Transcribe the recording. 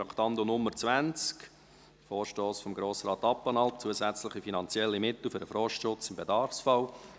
Traktandum 20, Vorstoss von Grossrat Abplanalp: «Zusätzliche finanzielle Mittel für den Forstschutz im Bedarfsfall».